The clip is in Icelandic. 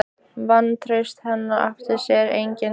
Vantraust hennar átti sér engin takmörk.